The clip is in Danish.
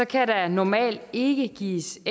kan der normalt ikke gives